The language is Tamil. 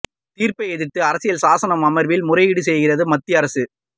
தீர்ப்பை எதிர்த்து அரசியல் சாசன அமர்வில் முறையீடு செய்கிறது மத்திய அரசு